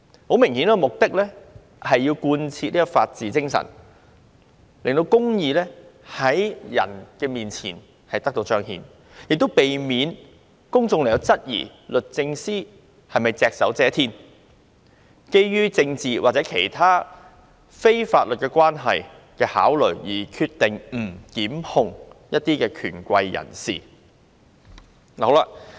很明顯，目的是要貫徹法治精神，讓公義能夠在人前彰顯，亦避免公眾質疑律政司是否隻手遮天，基於政治或其他非法律關係的考慮，決定不檢控一些權貴人士。